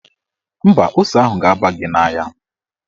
Mba, ose ahụ ga-aba gị n'anya.